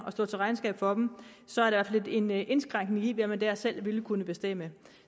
og stå til regnskab for dem så er det altså lidt en indskrænkning i hvad man der selv ville kunne bestemme